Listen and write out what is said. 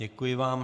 Děkuji vám.